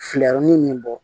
Fileyɔrɔnin min bɔ